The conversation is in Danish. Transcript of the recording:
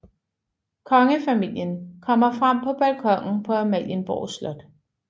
Kongefamilien kommer frem på balkonen på Amalienborg Slot